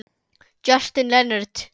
Justin Leonard